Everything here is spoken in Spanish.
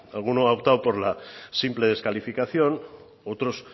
alguno ha optado por la simple descalificación otros